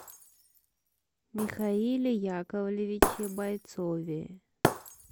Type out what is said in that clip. михаиле яковлевиче бойцове